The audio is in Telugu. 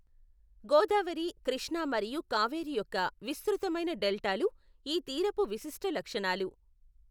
గోదావరి, కృష్ణా మరియు కావేరి యొక్క విస్తృతమైన డెల్టాలు ఈ తీరపు విశిష్ట లక్షణాలు.